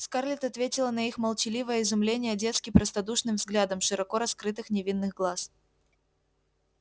скарлетт ответила на их молчаливое изумление детски простодушным взглядом широко раскрытых невинных глаз